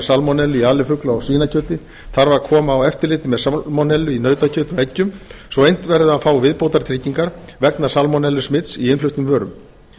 salmonellu í alifugla og svínakjöti þarf að koma á eftirliti með salmonellu í nautakjöti og eggjum svo unnt verði að fá viðbótartryggingar vegna salmonellusmits í innfluttum vörum